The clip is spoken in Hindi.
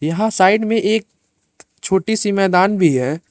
यहा साइड में एक छोटी सी मैदान भी है।